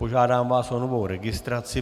Požádám vás o novou registraci.